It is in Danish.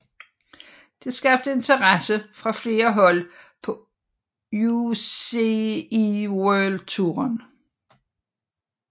Det skabte interesse fra flere hold på UCI World Touren